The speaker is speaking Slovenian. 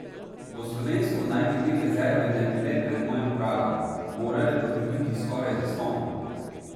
Po slovensko naj bi te rezerve ne bile pred mojim pragom, morale pa bi biti skoraj zastonj.